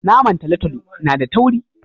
Naman talotalo na da tauri